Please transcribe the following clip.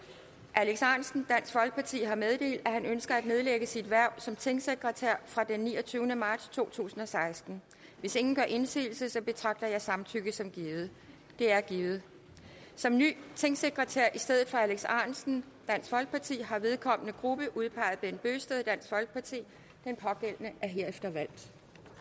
alex ahrendtsen har meddelt at han ønsker at nedlægge sit hverv som tingsekretær fra den niogtyvende marts to tusind og seksten hvis ingen gør indsigelse betragter jeg samtykket som givet det er givet som ny tingsekretær i stedet for alex ahrendtsen har vedkommende gruppe udpeget bent bøgsted den pågældende er herefter valgt